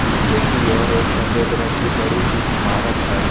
पीछे की ओर एक सफेद रंग की बड़ी सी इमारत है।